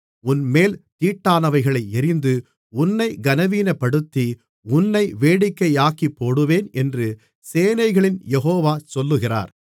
உன்மேல் தீட்டானவைகளை எறிந்து உன்னைக் கனவீனப்படுத்தி உன்னை வேடிக்கையாக்கிப்போடுவேன் என்று சேனைகளின் யெகோவா சொல்லுகிறார்